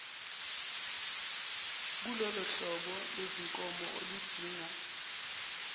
kulolohlobo lwezinkomo oludinga